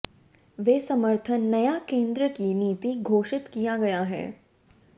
वे समर्थन नया केंद्र की नीति घोषित किया गया है